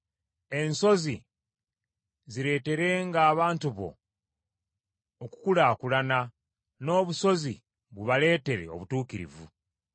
Ensozi zireeterenga abantu bo okukulaakulana n’obusozi bubaleetere obutuukirivu.